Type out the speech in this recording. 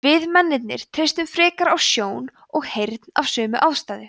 við mennirnir treystum frekar á sjón og heyrn af sömu ástæðu